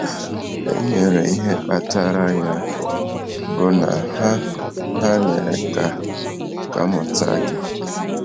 E nyere ihe kpatara ya bụ na ha “ ha “ mere ka a mụta gị. ”